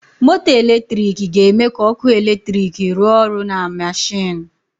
Moto eletrik ga-eme ka ọkụ eletrik rụọ ọrụ na mashinu.